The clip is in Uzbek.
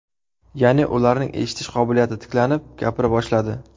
Ya’ni, ularning eshitish qobiliyati tiklanib, gapira boshladi.